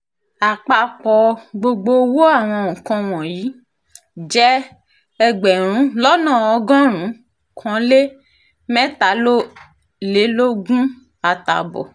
àpapọ̀ gbogbo owó àwọn nǹkan wọ̀nyí jẹ́ ẹgbẹ̀rún lọ́nà ọgọ́rùn-ún kan lé mẹ́tàlélógún àtààbọ̀